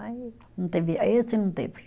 Aí não teve, aí esse não teve.